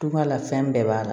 Duba la fɛn bɛɛ b'a la